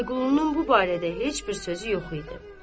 Vəliqulunun bu barədə heç bir sözü yox idi.